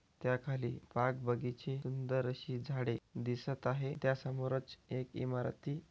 त्या खाली बाग बगीचे सुंदर अशी झाडे दिसत आहे त्यासमोरच एक इमारती--